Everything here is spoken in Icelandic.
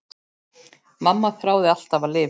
Mamma þráði alltaf að lifa.